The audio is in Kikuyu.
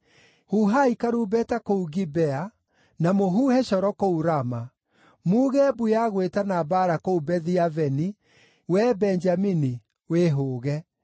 “Huhai karumbeta kũu Gibea, na mũhuhe coro kũu Rama. Muuge mbu ya gwĩtana mbaara kũu Bethi-Aveni; wee Benjamini, wĩhũũge.